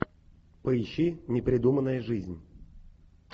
поищи непридуманная жизнь